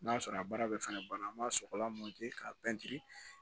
N'a sɔrɔ a baara bɛ fɛnɛ banna an b'a sɔgɔlan k'a pɛntiri